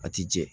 A ti jɛ